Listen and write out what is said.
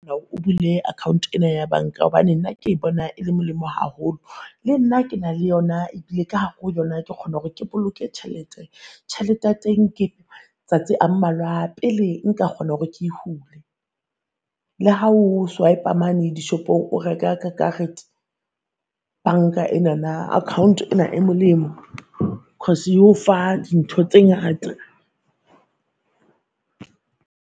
O bule account ena ya banka hobane nna ke bona e le molemo haholo. Le nna ke na le yona ebile ka hare ho yona ke kgona hore ke boloke tjhelete. Tjhelete ya teng ke tsatsi a mmalwa pele nka kgona hore ke e hule. Le ha o swipe-a mane dishopong o reka ka karete banka enana akhaonte ena e molemo cause e o fa dintho tse ngata.